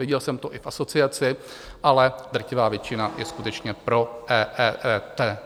Viděl jsem to i v asociaci, ale drtivá většina je skutečně pro EET.